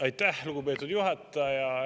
Aitäh, lugupeetud juhataja!